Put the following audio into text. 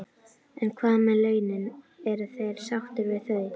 En hvað með launin, eru þeir sáttir við þau?